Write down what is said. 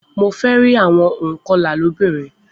Mo fẹ rí àwọn ònkọlà lóbìnrin